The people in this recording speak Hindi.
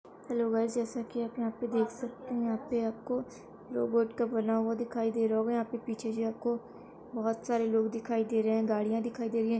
हैलो गाइस जेसा की आप यहाँ पे देख सकते है यहाँ पे आपको रोबोट का बना हुआ दिखाई दे रहा होगा पीछे जे आपको बहुत सारे लोग दिखाई दे रहे है गाड़िया दिखाई दे रही है।